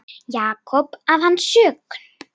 Jakob að hans sögn.